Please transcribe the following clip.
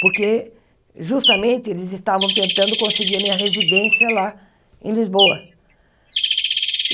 Porque justamente eles estavam tentando conseguir a minha residência lá em Lisboa.